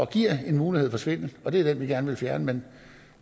giver en mulighed for svindel og det er den vi gerne vil fjerne men